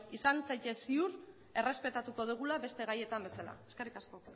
izan zaitez ziur errespetatuko dugula beste gaietan bezala eskerrik asko